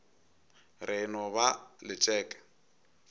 re e no ba letšeke